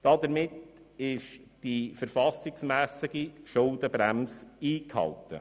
Damit wird die verfassungsmässige Schuldenbremse eingehalten.